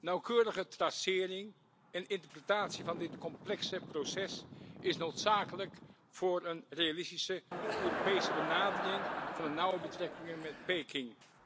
Nauwkeurige tracering en interpretatie van dit complexe proces is noodzakelijk voor een realistische Europese benadering van de nauwe betrekkingen met Peking.